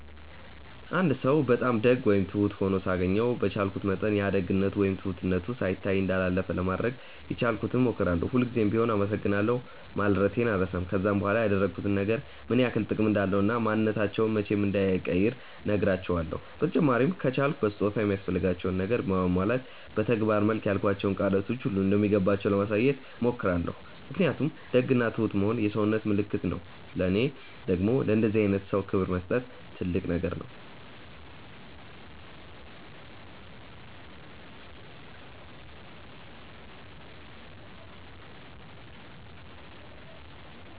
አንድ ሰው በጣም ደግ ወይም ትሁት ሆኖ ሳገኘው በቻልኩት መጠን ያ ደግነቱ ወይም ትሁትነቱ ሳይታይ እንዳላለፈ ለማድረግ የቻልኩትን ሞክራለው፤ ሁል ጉዘም ቢሆም አመሰግናለሁ ማለቴን አልረሳም፤ ከዛም በኋላ ያደረጉት ነገር ምን ያክል ጥቅም እንዳለው እና ማንንነታቸውን መቼም እንዳይቀይሩ ነህራቸውለው፤ በተጨማሪም ከቻልኩ በስጦታ ወይም የሚያስፈልጋቸውን ነገር በማሟላት በተግባር መልክ ያልኳቸው ቃላቶች ሁሉ እንደሚገባቸው ለማሳየት ሞክራለው ምክንያቱም ደግ እና ትሁት መሆን የሰውነት ምልክት ነው ለኔ ደግም ለእንደዚህ አይነት ሰው ክብር መስጠት ትልቅ ነገር ነው።